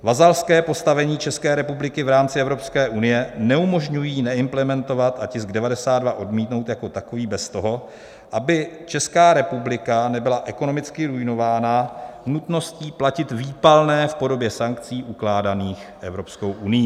Vazalské postavení České republiky v rámci Evropské unie neumožňují neimplementovat a tisk 92 odmítnout jako takový bez toho, aby Česká republika nebyla ekonomicky ruinována nutností platit výpalné v podobě sankcí ukládaných Evropskou unií.